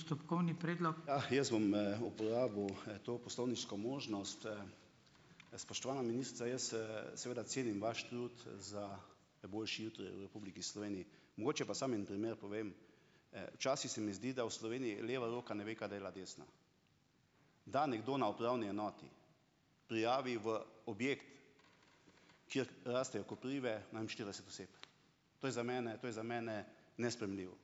Ja, jaz bom, uporabil, to poslovniško možnost, Spoštovana ministrica, jaz, seveda cenim vaš trud za boljši jutri v Republiki Sloveniji. Mogoče pa samo en primer povem. Včasih se mi zdi, da v Sloveniji leva roka ne ve, kaj dela desna. Da nekdo na upravni enoti prijavi v objekt, kjer rastejo koprive, ne vem, štirideset oseb. To je za mene, to je za mene nesprejemljivo.